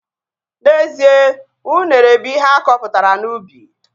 N'ezie, unere bụ ihe akọpụtara n'ubi